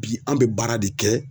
Bi an bɛ baara de kɛ